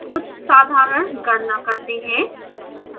कुछ साधारण गणना करते हैं